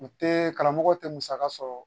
U tɛ karamɔgɔ tɛ musaka sɔrɔ